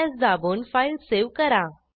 CtrlS दाबून file save करा